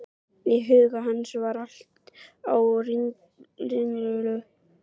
Í huga hans var allt á ringulreið.